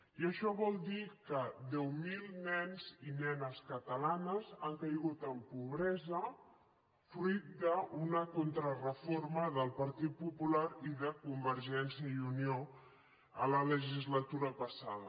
i això vol dir que deu mil nens i nenes catalanes han caigut en pobresa fruit d’una contrareforma del partit popular i de convergència i unió a la legislatura passada